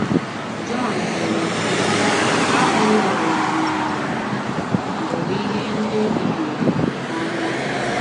Jọn dere, sị: ““ Ahụla ụwa ma ọ bụ ihe ndị dị n’ụwa n’anya.